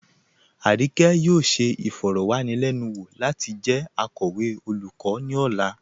Arike yóò ṣẹ ifọ̀rọ̀wanilẹnuwo lati jẹ akọwe olùkọ̀ ni ọ̀là.